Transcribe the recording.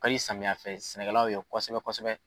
O ka di samiyɛnfɛsɛnɛkɛlaw ye kosɛbɛkosɛbɛ.